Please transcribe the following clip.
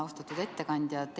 Austatud ettekandja!